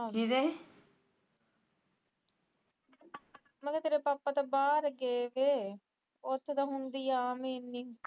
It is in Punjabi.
ਮੇਕਾ ਤੇੇਰੇ ਪਾਪਾ ਤਾ ਬਾਹਰ ਗਏ ਵੇ ਉਥੇ ਤਾ ਹੁੰਦੀ ਆ